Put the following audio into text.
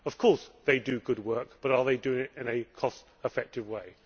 Of course they do good work, but are they doing it in a cost effective way?